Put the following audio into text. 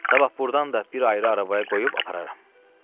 Sabah burdan da bir ayrı arabaya qoyub aparırlar.